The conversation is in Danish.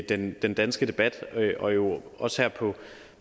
den den danske debat og jo også her på